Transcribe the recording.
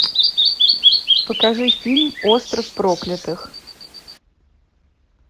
покажи фильм остров проклятых